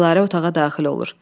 Dilarə otağa daxil olur.